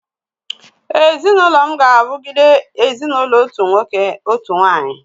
Ezinụlọ m ga-awugide ezinụlọ otu nwoke, otu nwanyị